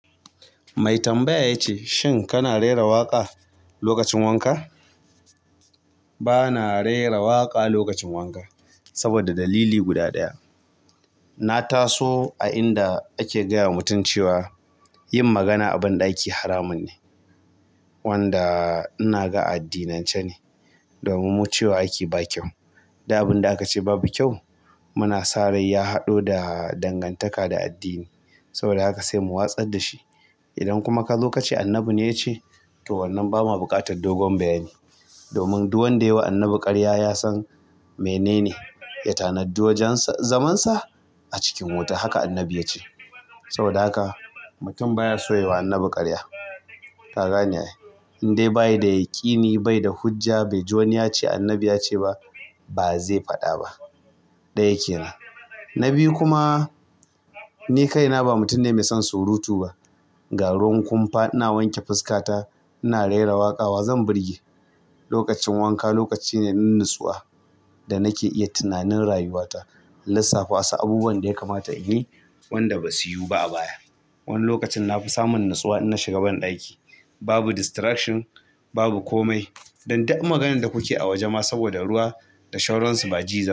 Mai tambaya ya ce, "Shin kana rera waƙa lokacin wanka?" Ba na rera waƙa lokacin wanka saboda dalili guda ɗaya. Na taso a inda ake gaya wa mutum cewa yin magana a banɗaki haramun ne wanda inaga a addinance ne dan cewa ake ba kyau. Duk abin da aka ce babu kyau muna sa rai ya haɗo da dangantaka da addini. Saboda haka sai mu watsar da shi. Idan kuma kazo kace annabi ne yace to wannan bama buƙatar doguwar bayani domin duk wanda yama annabi ƙarya yasan menene ya tanaji wajan zamansa a cikin wuta. Haka Annabi ya ce. Saboda haka mutum baya so yayi wa annabi karya. Ka gane ai. Indai bayi da yakini, bai da hujja, bai ji wani ya ce annabi ya ce ba, ba zai faɗa ba. Ɗaya kenan na biyu kuma ni kaina ba mutum ne mai son surutu ba. Garin kumfa ina wanke fuskata ina rera waƙa wa zan burge? Lokacin wanka lokaci ne na natsuwa da nake iya tunanin rayuwata, lissafa wasu abubuwan da ya kamata in yi wanda basu yiwu ba a baya. Wani lokacin nafi samun natsuwa in na shiga banɗaki. Babu distraction, babu komai. Dan duk maganan da kuke a waje ma saboda ruwa da sauran su ba ji zai ba.